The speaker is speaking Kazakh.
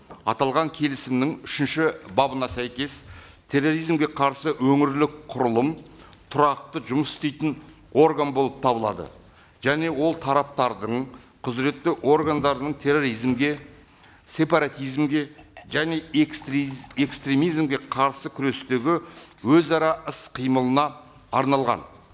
аталған келісімнің үшінші бабына сәйкес терроризмге қарсы өңірлік құрылым тұрақты жұмыс істейтін орган болып табылады және ол тараптардың құзыретті органдарының терроризмге сепаратизмге және экстремизмге қарсы күрестегі өзара іс қимылына арналған